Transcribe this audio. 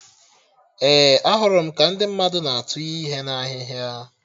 Ee, ahụrụ m ka ndị mmadụ na atụnye ihe na ahịhịa